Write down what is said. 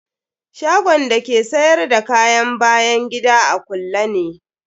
Shagon da ke sayar da kayan bayan gida a kulle ne.